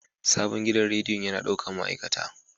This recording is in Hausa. Sabon gidan rediyon yana ɗaukar ma'aikata.